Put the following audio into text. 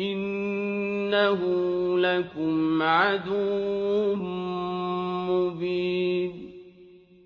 إِنَّهُ لَكُمْ عَدُوٌّ مُّبِينٌ